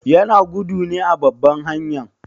Yana gudu ne a babban hanyan?